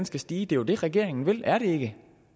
skal stige det er jo det regeringen vil er det ikke